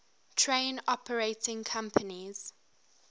train operating companies